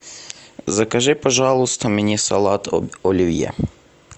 закажи пожалуйста мне салат оливье